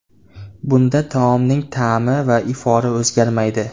Bunda taomning ta’mi va ifori o‘zgarmaydi.